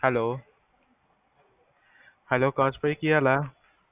hello hello Akash ਭਾਈ ਕੀ ਹਾਲ ਹੈ?